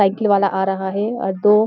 cycle वाला आ रहा है और दो --